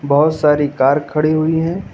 बहोत सारी कार खड़ी हुई हैं।